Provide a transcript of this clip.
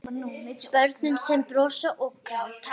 Börn sem brosa og gráta.